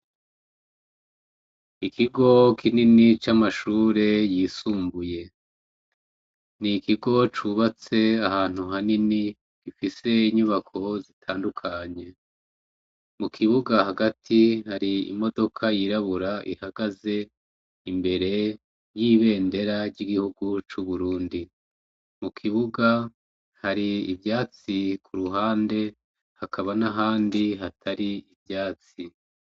Ikigo kinini c'amashure yisumbuye. Ni ikigo cubatse ahantu hanini gifise inyubako zitandukanye mu kibuga hagati hari imodoka yirabura ihagaze imbere y'ibendera ry'igihugu c'uburundi mu kibuga hari ivyatsi ku ruhande hakaba n'ahandi hatari ivyatsi.